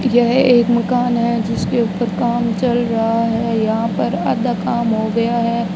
यह एक मकान है जिसके ऊपर काम चल रहा है यहां पर आधा काम हो गया है।